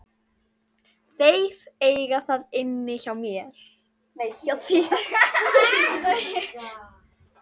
Þeir eiga það inni hjá þér.